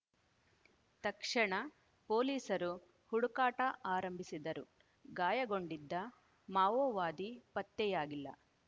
ತಕ್ಷಣ ಪೊಲೀಸರು ಹುಡುಕಾಟ ಆರಂಭಿಸಿದ್ದರು ಗಾಯಗೊಂಡಿದ್ದ ಮಾವೋವಾದಿ ಪತ್ತೆಯಾಗಿಲ್ಲ